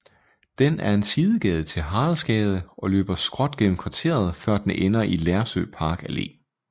Den er en sidegade til Haraldsgade og løber skråt gennem kvarteret før den ender i Lersø Park Allé